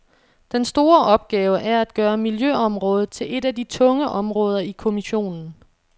Den store opgave er at gøre miljøområdet til et af de tunge områder i kommissionen.